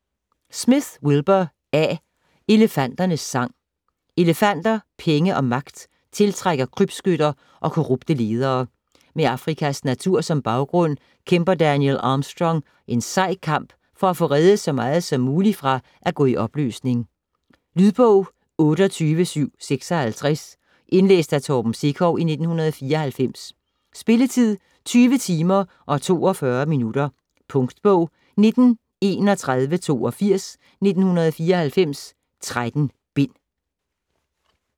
Smith, Wilbur A.: Elefanternes sang Elefanter, penge og magt tiltrækker krybskytter og korrupte ledere. Med Afrikas natur som baggrund kæmper Daniel Armstrong en sej kamp for at få reddet så meget som muligt fra at gå i opløsning. Lydbog 28756 Indlæst af Torben Sekov, 1994. Spilletid: 20 timer, 42 minutter. Punktbog 193182 1994. 13 bind.